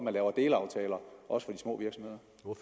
at lave delaftaler også